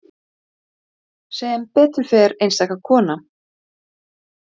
Það var von mín.